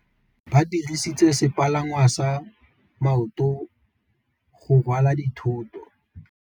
Ba dirisitse sepalangwasa maotwana go rwala dithôtô.